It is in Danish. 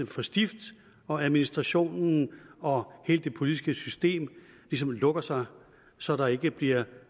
for stift og administrationen og hele det politiske system ligesom lukker sig så der ikke bliver